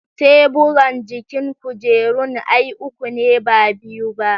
Teburan jikin kujerun ai uku ne ba biyu ba